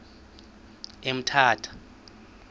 emthatha